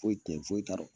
Foyi tɛ yen foyi t'a la